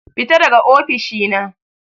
Fita daga ofishi na.